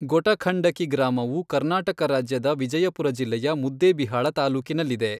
ಗೊಟಖಂಡಕಿ ಗ್ರಾಮವು ಕರ್ನಾಟಕ ರಾಜ್ಯದ ವಿಜಯಪುರ ಜಿಲ್ಲೆಯ ಮುದ್ದೇಬಿಹಾಳ ತಾಲ್ಲೂಕಿನಲ್ಲಿದೆ.